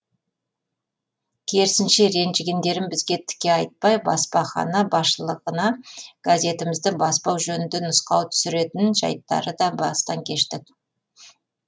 керісінше ренжігендерін бізге тіке айтпай баспахана басшылығына газетімізді баспау жөнінде нұсқау түсіретін жайттары да бастан кештік